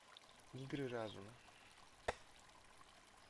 игры разума